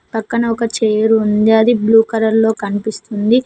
పక్కన ఒక చేరుంది అది బ్లూ కలర్ లో కనిపిస్తుంది.